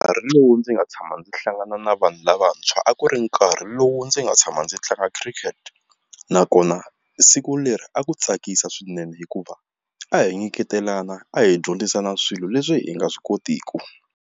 Nkarhi lowu ndzi nga tshama ndzi hlangana na vanhu lavantshwa a ku ri nkarhi lowu ndzi nga tshama ndzi tlanga khirikete nakona siku leri a ku tsakisa swinene hikuva a hi nyiketelana a hi dyondzisana swilo leswi hi nga swi kotiki.